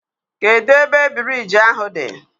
Kedụ ebe biriji ahụ dị?